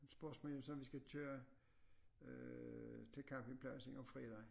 Spørgsmålet er jo så om vi skal køre øh til camoingpladsen om fredagen